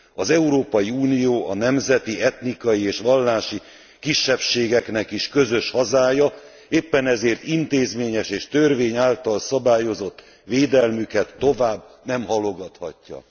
Az Európai Unió a nemzeti, etnikai és vallási kisebbségeknek is közös hazája, éppen ezért intézményes és törvény által szabályozott védelmüket tovább nem halogathatja!